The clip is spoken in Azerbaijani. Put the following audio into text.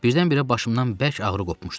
Birdən-birə başımdan bərk ağrı qopmuşdu.